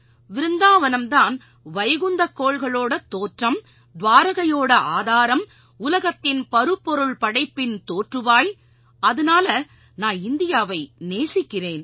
விருந்தாவனம்தான் வைகுந்தக் கோள்களோட தோற்றம் துவாரகையோட ஆதாரம் உலகத்தின் பருப்பொருள் படைப்பின் தோற்றுவாய் அதனால நான் இந்தியாவை நேசிக்கறேன்